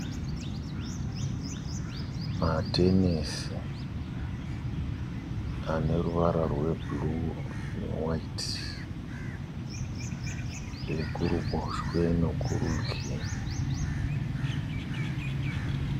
Matenesi aneruvara rwe buru ne wayiti. Ekuruboshwe nekurudyi.